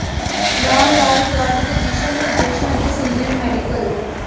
ਰਾਮ ਲਾਲ ਗਾਟ ਦੇ ਦਿਸ਼ਾ ਨਿਰਦੇਸ਼ਾਂ ਅਤੇ ਸੀਨੀਅਰ ਮੈਡੀਕਲ